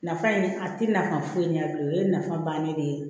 Nafa in a tɛ nafa foyi ɲɛ bilen o ye nafa bannen de ye